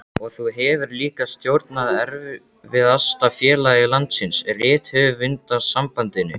Og þú hefur líka stjórnað erfiðasta félagi landsins, Rithöfundasambandinu.